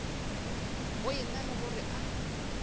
go ena le gore a